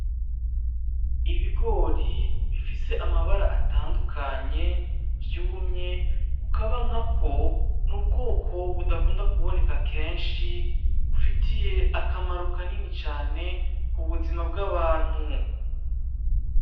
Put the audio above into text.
Ibigori bifise amabara atandukanye vyumye ukaba nkako nubwoko budakunda kuboneka kenshi, bufitiye akamaro kanini cane kubuzima bw'abantu.